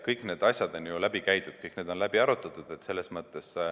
Kõik need asjad on läbi käidud, kõik need on läbi arutatud.